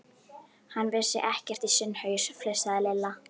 Hann vissi ekkert í sinn haus, flissaði Lilla.